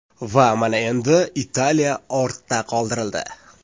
Va mana endi, Italiya ortda qoldirildi.